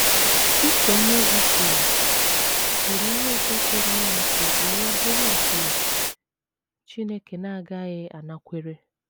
Pita onyeozi kwuru kwuru ihe ọzọ pụrụ ime ka ekpere bụrụ nke Chineke na - agaghị anakwere.